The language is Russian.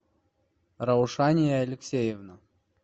раушания алексеевна